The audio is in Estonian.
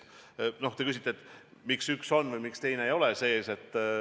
Te küsite, miks üks on või miks teine ei ole sees.